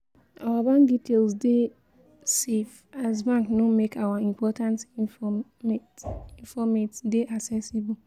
our bank details dey safe as bank no make our important informate informate dey accessible